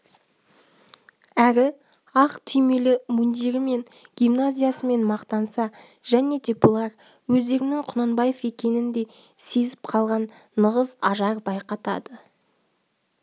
әрі ақ түймелі мундирімен гимназиясымен мақтанса және де бұлар өздерінің құнанбаев екенін де сезіп қалған нығыз ажар байқатады